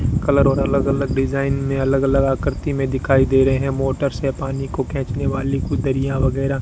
colour और अलग अलग डिजाइन में अलग अलग आकृति में दिखाई दे रहे हैं मोटर से पानी को खींचने वाली वगैरह --